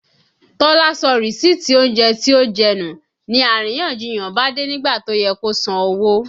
Tọ́lá sọ rìsíìtì oúnjẹ tí ó jẹ́ nù, ni àríyànjiyàn bá dé nígbà tó yẹ kó san owó